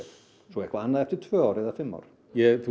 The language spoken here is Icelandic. svo eitthvað annað eftir tvö ár eða fimm ár ég